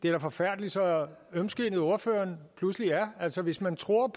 er forfærdeligt så ømskindet ordføreren pludselig er altså hvis man tror